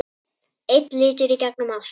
Einn litur í gegnum allt.